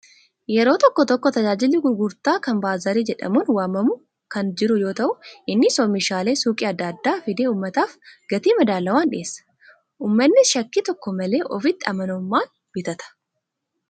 Yeroo tokko tokko tajaajilli gurgurtaa kan baazaarii jedhamuun waamamu kan jiru yoo ta'u, innis oomishaalee suuqii adda addaa fidee uummataaf gatii madaalawaan dhiyeessa. Uummannis shakkii tokko malee ofitti amanamummaan bitata.